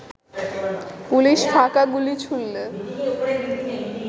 police ফাঁকা গুলি ছুড়লে